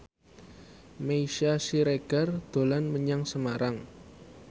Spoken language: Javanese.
Meisya Siregar dolan menyang Semarang